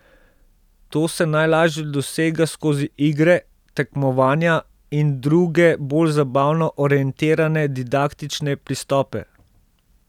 To se najlažje dosega skozi igre, tekmovanja in druge bolj zabavno orientirane didaktične pristope.